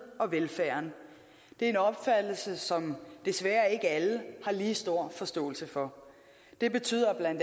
og velfærden det er en opfattelse som desværre ikke alle har lige stor forståelse for det betyder bla